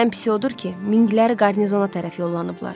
Ən pisi odur ki, minqlər qarnizona tərəf yollanıblar.